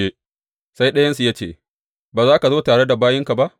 Sai ɗayansu ya ce, Ba za ka zo tare da bayinka ba?